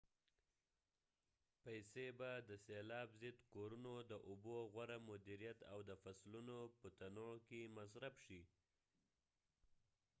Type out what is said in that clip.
پیسې به د سیلاب ضد کورونو د اوبو غوره مدیریت او د فصلونو په تنوع کې مصرف شي